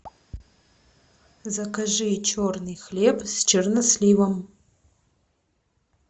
закажи черный хлеб с черносливом